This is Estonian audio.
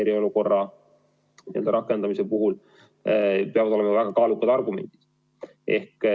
Eriolukorra rakendamiseks peavad olema väga kaalukad argumendid.